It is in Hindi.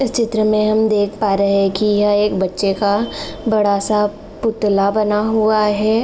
इस चित्र मे हम देख पा रहे हैं कि यह बच्चे का बड़ा सा पुतला बना हुआ है।